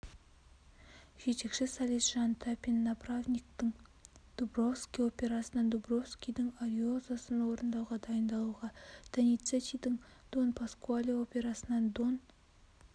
жетекші солист жан тапин направниктың дубровский операсынан дубровскийдің ариозосын орындауға дайындалуда доницеттидің дон паскуале операсынан дон